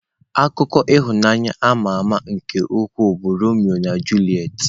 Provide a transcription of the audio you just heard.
Akụkọ ịhụnanya ama ama nke ukwuu bụ Romeo na Juliet.